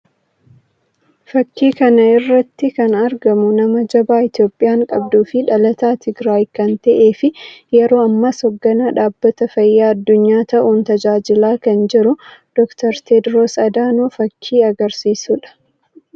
Fakkii kana irratti kana argamu nama jabaa Itoophiyaan qabduu fi dhalataa Tigiraayii kan ta'ee fi yeroo ammas hogganaa dhabbata fayyaa addunyaa ta'uun tajaajilaa kan jiru Dokter Teediroos Adaanoo fakkii agarsiisuu dha.